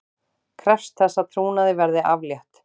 Krefst þess að trúnaði verði aflétt